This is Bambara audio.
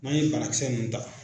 N'an ye banakisɛ ninnu ta.